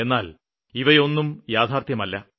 എന്നാല് ഇവയൊന്നും യാഥാര്ത്ഥ്യമല്ല